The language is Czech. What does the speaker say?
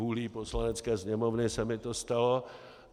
Vůlí Poslanecké sněmovny se mi to stalo.